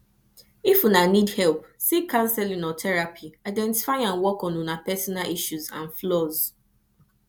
if una need help seek counseling or therapy identify and work on una personal issues and flaws